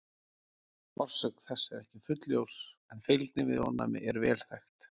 Orsök þess er ekki fullljós en fylgni við ofnæmi er vel þekkt.